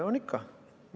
On ikka.